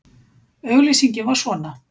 Auglýsingin var svona